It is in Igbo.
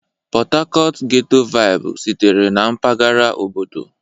Port Harcourt ghẹ́tọ́ váịbụ sitere na mpaghara obodo.